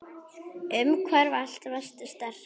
Umfram allt varstu sterk.